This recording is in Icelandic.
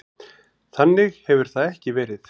Þannig hefur það ekki verið.